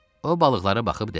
O balıqları baxıb dedi.